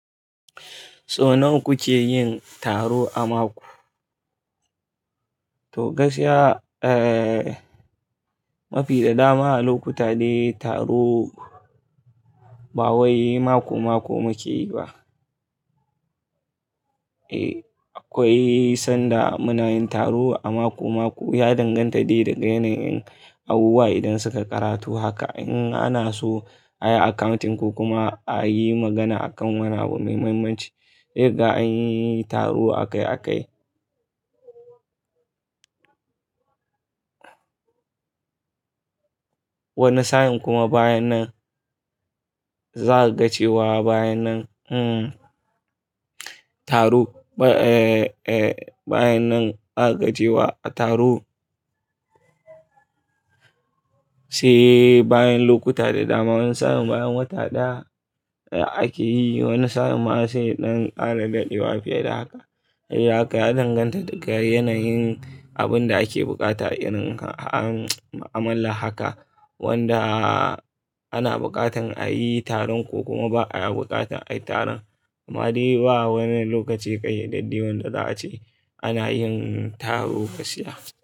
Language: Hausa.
So nawa kuke yin taro a mako? To gaskiya, eh, mafi da dama a lokuta dai taro ba wai mako-mako muke yi ba. Eh, akwai sanda muna yin taro a mako-mako. Ya danganta dai daga yanayin abubuwa idan suka karatu haka. In ana so a yi accounting ko kuma a yi magana akan wani abu mai mahimmanci dai ga an yi taro a kai a kai. Wani sa'in kuma bayan nan za a gacewa bayan nan, hmm, taro, eh, eh, bayan nan za a gacewa taro. Sai bayan lokuta da dama, wani sa'in bayan wata ɗaya ake yi. Wani sa'in ma sai ɗan ƙara daɗewa fiye da haka. Sai haka ya danganta daga yanayin abun da ake buƙata irin an amala haka wanda ana buƙatar a yi taron ko kuma ba a buƙatar a yi taron. Amma dai ba wani lokaci ƙaiyadadde wanda za a ce ana yin taro gaskiya.